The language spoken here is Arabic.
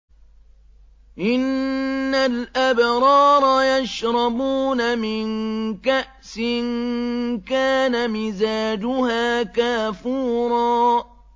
إِنَّ الْأَبْرَارَ يَشْرَبُونَ مِن كَأْسٍ كَانَ مِزَاجُهَا كَافُورًا